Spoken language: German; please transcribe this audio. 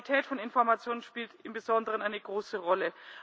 Die Qualität von Information spielt im Besonderen eine große Rolle.